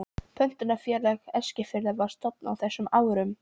Pöntunarfélag Eskfirðinga var stofnað á þessum árum.